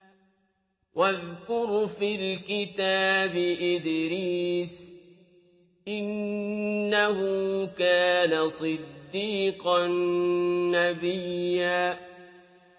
وَاذْكُرْ فِي الْكِتَابِ إِدْرِيسَ ۚ إِنَّهُ كَانَ صِدِّيقًا نَّبِيًّا